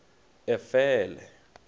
efele